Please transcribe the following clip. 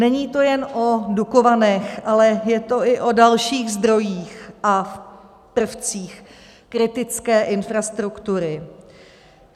Není to jenom o Dukovanech, ale je to i o dalších zdrojích a prvcích kritické infrastruktury.